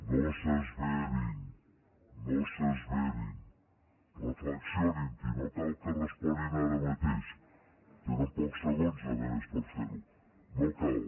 no s’esverin no s’esverin reflexionin no cal que responguin ara mateix tenen pocs segons a més per fer ho no cal